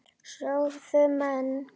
sögðu menn.